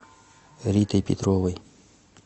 ритой петровой